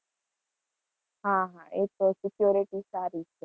હા હા એ તો security સારી છે.